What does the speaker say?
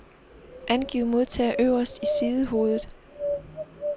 Angiv modtager øverst i sidehovedet.